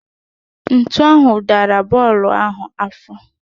Ntu ahụ dara bọọlụ ahụ afọ